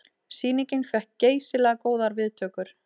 Sýningin fékk geysilega góðar viðtökur